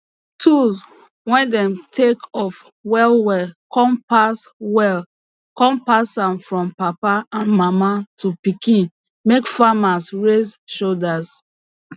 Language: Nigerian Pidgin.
tools way dem take of well well come pass well come pass am from papa and mama to pikin make farmers raise shoulder